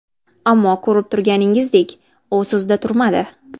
Ammo ko‘rib turganingizdek u so‘zida turmadi.